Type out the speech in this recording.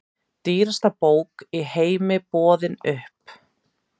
Dýrasta bók í heimi boðin upp